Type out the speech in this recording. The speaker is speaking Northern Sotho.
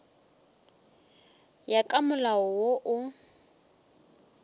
ya ka molao wo o